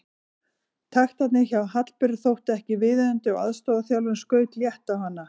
Taktarnir hjá Hallberu þóttu ekki viðunandi og aðstoðarþjálfarinn skaut létt á hana.